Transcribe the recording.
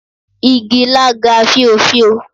Igi ilá ga fíofío.